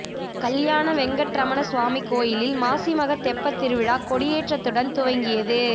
கல்யாண வெங்கட்ரமண சுவாமி கோயிலில் மாசிமக தெப்ப திருவிழா கொடியேற்றத்துடன் துவங்கியது